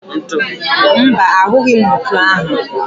Mba, ahụghi m ntu ahụ